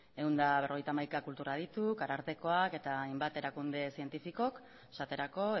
ehun eta berrogeita hamaika kultur adituk arartekoak eta hainbat erakunde zientifikok esaterako